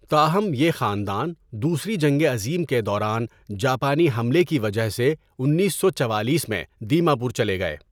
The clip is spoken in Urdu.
تاہم، یہ خاندان دوسری جنگ عظیم کے دوران جاپانی حملے کی وجہ سے انیس سو چوالیس میں دیما پور چلے گئے۔